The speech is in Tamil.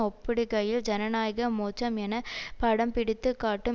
ஒப்பிடுகையில் ஜனநாயக மோட்சம் என படம்பிடித்துக் காட்டும்